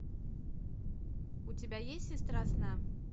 у тебя есть сестра сна